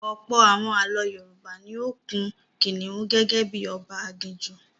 Ọ̀pọ̀ àwọn ààlọ́ Yorùbá ni ó kun kìnìún gẹ́gẹ́ bí i ọba aginjù.